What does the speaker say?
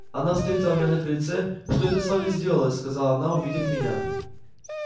она встретила меня на крыльце что это с вами сделалось сказала она увидев меня